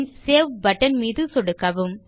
பின் save button மீது சொடுக்கவும்